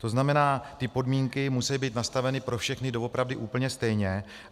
To znamená, ty podmínky musejí být nastaveny pro všechny doopravdy úplně stejně.